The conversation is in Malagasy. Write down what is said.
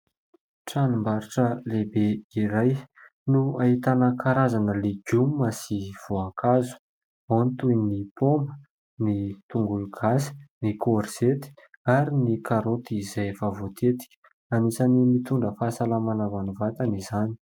Tranombarotra lehibe iray no ahitana karazana legioma sy voankazo : ao ny toy ny paoma, ny tongologasy, ny korzety ary ny karoty izay efa voatetika... Anisan'ny mitondra fahasalamana ho an'ny vatana izany.